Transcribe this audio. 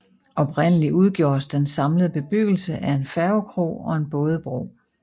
Oprindeligt udgjordes den samlede bebyggelse af en færgekro og en bådebro